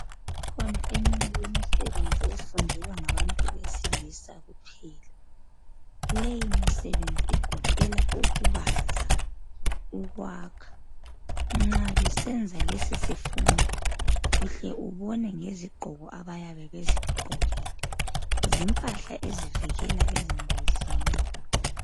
Ikhona eminye imisebenzi efundelwa ngabantu besilisa kuphela. Leyimisebenzi igoqela ukubaza ukwakha nxa besenza lesisifundo uhle ubone ngezigqoko abayabe bezigqokile, zimpahla ezivikela ezingozini.